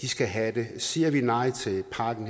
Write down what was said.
skal have det siger vi nej til et par af dem